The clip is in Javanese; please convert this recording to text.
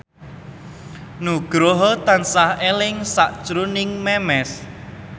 Nugroho tansah eling sakjroning Memes